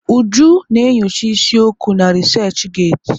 Uju na enyocha isi okwu na resachị getị.